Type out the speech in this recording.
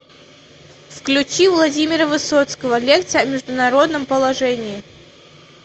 включи владимира высоцкого лекция о международном положении